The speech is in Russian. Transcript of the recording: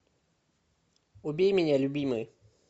убей меня любимый